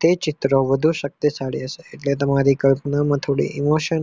તે ચિત્ર વધુ શક્તિશાળી હશે તે તમારી કલ્પના માં થોડું emotion